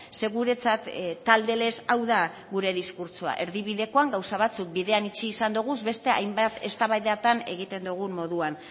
ze guretzat talde lez hau da gure diskurtsoa erdibidekoan gauza batzuk bidean itxi izan doguz beste hainbat eztabaidatan egiten dogun moduan